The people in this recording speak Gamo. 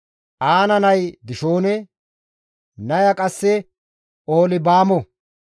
Aana nay Dishoone; naya qasse Oholibaamo.